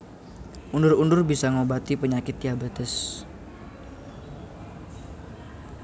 Undur undur bisa ngobati penyakit diabetes